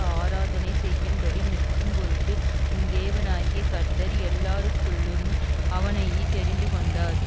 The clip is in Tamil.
ஆராதனை செய்யும்படி நிற்கும்பொருட்டு உன் தேவனாகிய கர்த்தர் எல்லாருக்குள்ளும் அவனையே தெரிந்துகொண்டார்